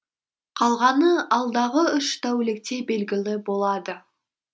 қалғаны алдағы үш тәулікте белгілі болады